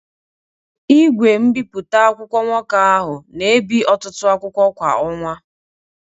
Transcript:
Igwe mbipụta akwụkwọ nwoke ahụ na ebi ọtụtụ akwụkwọ kwa ọnwa.